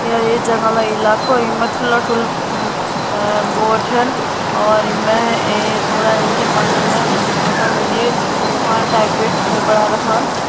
य ये जंगलो इलाको यिमा ठुला ठुला अ और यिमा जी तिरपाल टाइप के घर ।